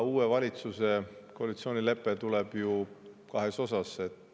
Uue valitsuse koalitsioonilepe tuleb ju kahes osas.